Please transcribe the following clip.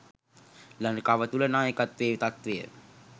ලංකාව තුළ නායකත්වයේ තත්ත්වය